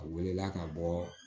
A welela ka bɔ